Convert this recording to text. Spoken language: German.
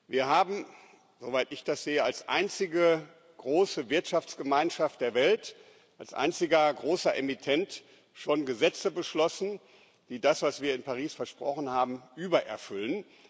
Wir haben, soweit ich das sehe, als einzige große Wirtschaftsgemeinschaft der Welt, als einziger großer Emittent, schon Gesetze beschlossen, die das, was wir in Paris versprochen haben, übererfüllen.